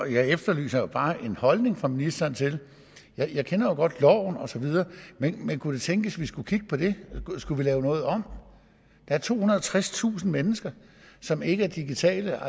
jeg efterlyser bare en holdning fra ministeren jeg kender jo godt loven og så videre men kunne det tænkes vi skulle kigge på det skulle vi lave noget om der er tohundrede og tredstusind mennesker som ikke er digitale